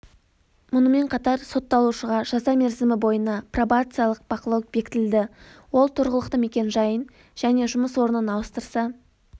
мұнымен қатар сотталушыға жаза мерзімі бойына пробациялық бақылау бекітілді ол тұрғылықты мекен-жайын және жұмыс орнын ауыстыра